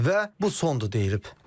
Və bu sondur deyilib.